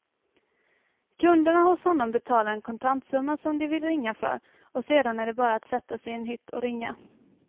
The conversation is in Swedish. Kunderna hos honom betalar en kontantsumma som de vill ringa för och sedan är det bara att sätta sig i en hytt och ringa.